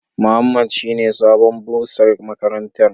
Muhammad shine sabon bursar makaranta.